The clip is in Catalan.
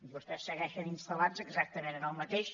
vostès segueixen instal·lats exactament en el mateix